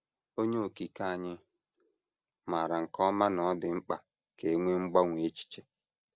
Onye Okike anyị maara nke ọma na ọ dị mkpa ka e nwee mgbanwe echiche.